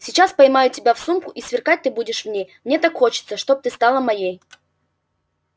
сейчас поймаю тебя в сумку и сверкать ты будешь в ней мне так хочется чтоб стала ты моей